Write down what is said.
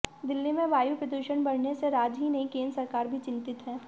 दिल्ली में वायु प्रदूषण बढ़ने से राज्य ही नहीं केंद्र सरकार भी चिंतित है